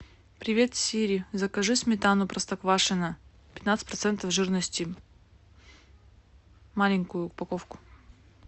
привет сири закажи сметану простоквашино пятнадцать процентов жирности маленькую упаковку